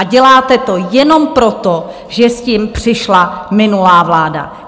A děláte to jenom proto, že s tím přišla minulá vláda.